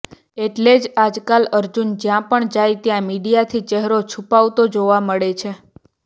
એટલે જ આજકાલ અર્જુન જ્યાં પણ જાય ત્યાં મીડિયાથી ચહેરો છૂપાવતો જોવા મળે છે